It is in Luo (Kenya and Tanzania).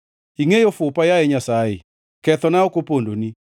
Ingʼeyo fupa, yaye Nyasaye; kethona ok opondoni.